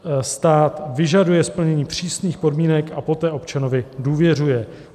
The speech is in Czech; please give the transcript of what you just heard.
Stát vyžaduje splnění přísných podmínek a poté občanovi důvěřuje.